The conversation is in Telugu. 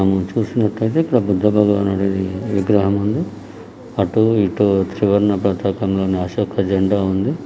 మనం చూస్తున్నట్లు అయితే ఇక్కడ బుద్ధ భగవణుడిది విగ్రహం ఉంది అటు ఇటు త్రివర్ణ పతాకం లో ని అశోక జెండా ఉంది.